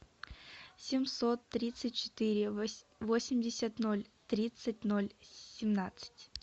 семьсот тридцать четыре восемьдесят ноль тридцать ноль семнадцать